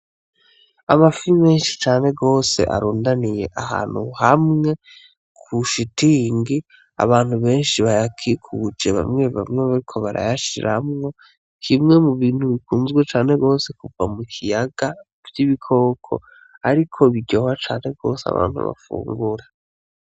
Amafi menshi cane gwose arundaniye ahantu hamwe kushitingi ,abantu benshi bayakikuje bamwe bamwe bariko barayashiramwo kimwe mubintu bikunzwe cane gwose kuva mukiyaga vy'ibikoko ariko biryoha cane gwose abantu bafungura.